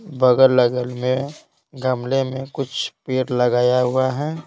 बगल लगल में गमले में कुछ पेड़ लगाया हुआ है।